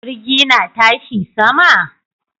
Jirgi na tashi sama?